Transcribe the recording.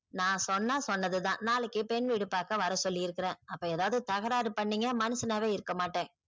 நான் சொன்னா சொன்னது தான் நாளைக்கு பெண் வீடு பார்க்க வர சொல்லிருக்கேன் அப்போ ஏதாவுது தகராறு பண்ணிங்க மனுஷனாவே இருக்க மாட்டேன்